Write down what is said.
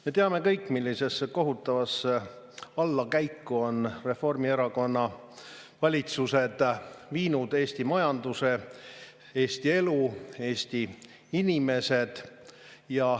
Me teame kõik, millise kohutava allakäiguni on Reformierakonna valitsused viinud Eesti majanduse, Eesti elu, Eesti inimesed.